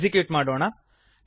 execute ಮಾಡೋಣ